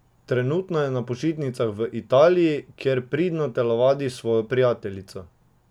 Trenutno je na počitnicah v Italiji, kjer pridno telovadi s svojo prijateljico.